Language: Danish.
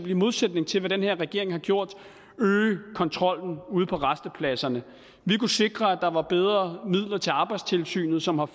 i modsætning til hvad den her regering har gjort øge kontrollen ude på rastepladserne vi kunne sikre at der var bedre midler til arbejdstilsynet som har